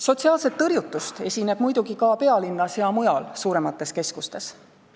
Sotsiaalset tõrjutust esineb muidugi ka pealinnas ja mujal suuremates keskustes.